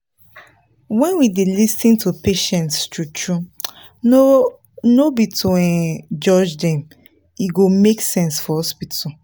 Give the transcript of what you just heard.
when we dey lis ten to patients true-true no no be to um judge dem e go make sense for hospital.